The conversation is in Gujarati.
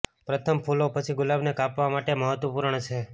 પ્રથમ ફૂલો પછી ગુલાબને કાપવા માટે મહત્વપૂર્ણ છે